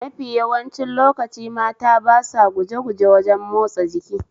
Mafi yawancin lokaci mata ba sa gujeguje wajen matsa jiki